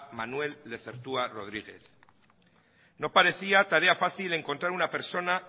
manuel lezertua rodríguez no parecía tarea fácil encontrar una persona